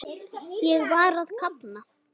Ég var að kafna.